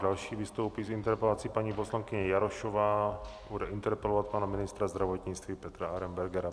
Další vystoupí s interpelací paní poslankyně Jarošová, bude interpelovat pana ministra zdravotnictví Petra Arenbergera.